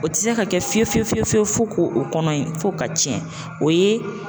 O te se ka kɛ fiye fiye fiye fiye fɔ k'o kɔnɔ in, f'o ka tiɲɛ. O ye